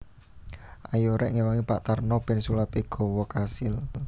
Ayo rek ngewangi Pak Tarno ben sulape gawa kasil